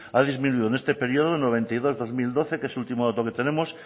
ha disminuido en este periodo noventa y dos dos mil doce que es el último dato que tenemos